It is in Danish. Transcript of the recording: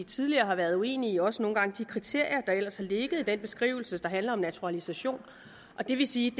tidligere har været uenig også nogle gange i de kriterier der ellers har ligget i den beskrivelse der handler om naturalisation det vil sige